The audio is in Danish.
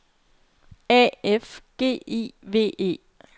A F G I V E